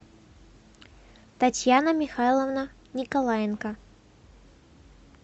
татьяна михайловна николаенко